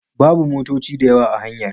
Babu motoci dayawa a hanyar.